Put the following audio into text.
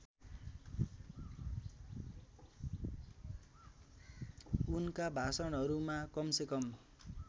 उनका भाषणहरूमा कमसेकम